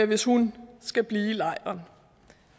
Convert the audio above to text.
hvis hun skal blive i lejren